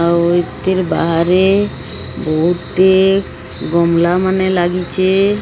ଆଉ ଏତିର ବାହାରେ ବହୁତ ହି ଗମଲା ମାନେ ଲାଗିଚେ।